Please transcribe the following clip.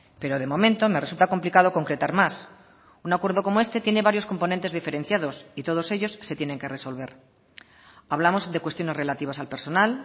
pero de momento me resulta complicado concretar más un acuerdo como este tiene varios componentes diferenciados y todos ellos se tienen que resolver hablamos de cuestiones relativas al personal